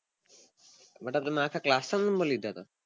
માટે તમે આખા class ના number લીધા હતા